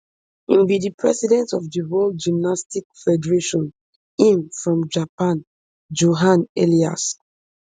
im be di president of di world gymnastics federation im from japan johan eliasch